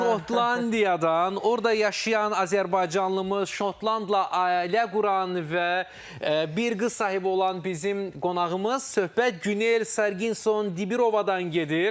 Şotlandiyadan, orda yaşayan azərbaycanlımız, şotlandla ailə quran və bir qız sahibi olan bizim qonağımız söhbət Günel Sarginson Dibirovadan gedir.